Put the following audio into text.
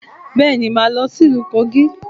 Bẹ́ẹ̀ni, màá lọ sí ìlú Kogí